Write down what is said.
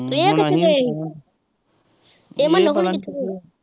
ਏਹ ਕਿੱਥੇ ਗਏ ਸੀ ਏਹ ਮਨੂ ਹੁਣੀ ਕਿੱਥੇ ਗਏ ਸੀ?